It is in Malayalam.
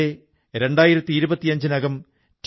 രാജ്യത്തെ 2025 നകം ടി